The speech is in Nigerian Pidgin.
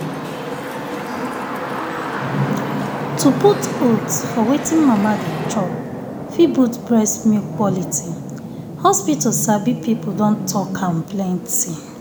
to put um oats for wetin mama de um chop fit boost milk quality. hospital sabi people don talk am plenty.